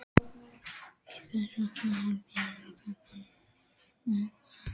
Þess vegna held ég þetta með eitrið.